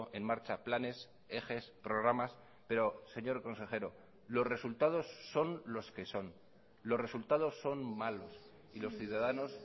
en marcha planes ejes programas pero señor consejero los resultados son los que son los resultados son malos y los ciudadanos